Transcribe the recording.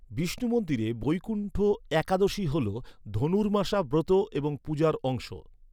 বিষ্ণু মন্দিরে বৈকুণ্ঠ একাদশী হল ধনুর্মাসা ব্রত এবং পূজার অংশ।